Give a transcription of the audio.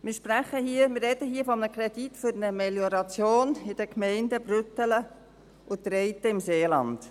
Wir sprechen hier von einem Kredit für eine Melioration in den Gemeinden Brüttelen und Treiten im Seeland.